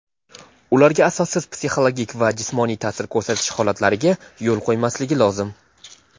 ularga asossiz psixologik va jismoniy taʼsir ko‘rsatish holatlariga yo‘l qo‘ymasligi lozim.